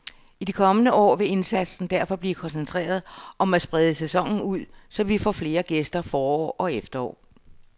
I de kommende år vil indsatsen derfor blive koncentreret om at sprede sæsonen ud, så vi får flere gæster forår og efterår.